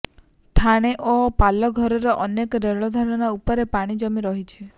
ଠାଣେ ଓ ପାଲଘରର ଅନେକ ରେଳ ଧାରଣା ଉପରେ ପାଣି ଜମି ରହିଛି